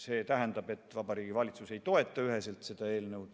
See tähendab, et Vabariigi Valitsus ei toeta üheselt seda eelnõu.